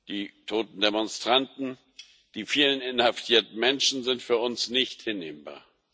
Die toten Demonstranten, die vielen inhaftierten Menschen sind für uns nicht hinnehmbar.